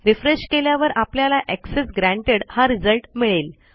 refresh केल्यावर आपल्याला access granted हा रिझल्ट मिळेल